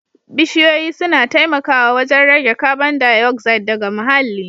Bishiyoyi suna taimakawa wajen rage kabon dayoxide daga muhalli